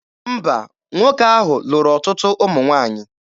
Mba, nwoke ahụ lụrụ ọtụtụ ụmụ nwaanyị.